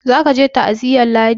za ka je ta aziyar ladi!